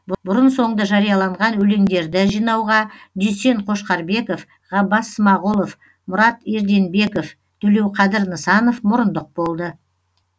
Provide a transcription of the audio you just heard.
бұрын соңды жарияланған өлеңдерді жинауға дүйсен қошқарбеков ғаббас смағұлов мұрат ерденбеков төлеуқадыр нысанов мұрындық болды